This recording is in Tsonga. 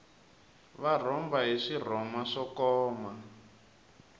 va rhomba hi swirhoma swo koma